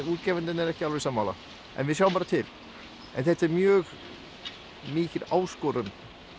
útgefandinn er ekki alveg sammála en við sjáum bara til en þetta er mjög mikil áskorun